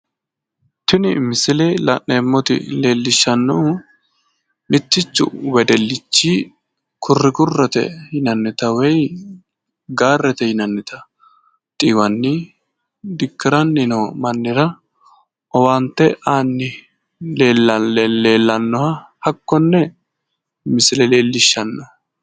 tini misile la'neemmoti leellishshannohu mittichu wedellichi kurrikurrete yinannita woyi gaarete yinannita xiiwanni dikkiranni noo mannira owaante aanni leellannoha hakkonne misile leellishshanno.